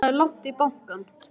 Það er langt í bankann!